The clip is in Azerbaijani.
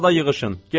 Dərhal da yığışın,